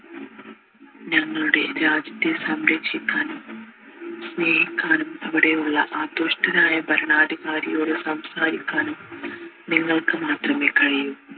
ഞങ്ങളുടെ രാജ്യത്തെ സംരക്ഷിക്കാനും സ്നേഹിക്കാനും അവിടെ ഉള്ള ആ ദുഷ്ടൻ ആയ ഭരണാധികാരിയോട് സംസാരിക്കാനും നിങ്ങൾക് മാത്രമേ കഴിയു